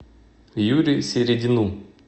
юре середину